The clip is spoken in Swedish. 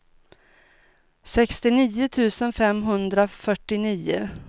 sextionio tusen femhundrafyrtionio